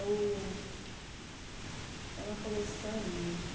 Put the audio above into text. É o... É uma coleção, menino.